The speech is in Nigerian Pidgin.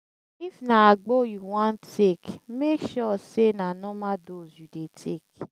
if na agbo yu wan take mek sure sey na normal dose you dey take